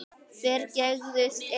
Þeir gægðust inn.